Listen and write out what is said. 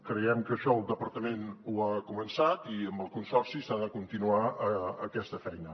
creiem que això el departament ho ha començat i amb el consorci s’ha de continuar aquesta feina